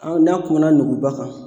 An n'a kumana nuguba kan.